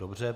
Dobře.